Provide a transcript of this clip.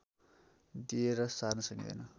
दिएर सार्न सकिँदैन